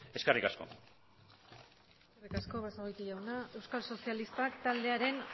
eskerrik asko eskerrik asko basagoiti jauna euskal sozialistak taldearen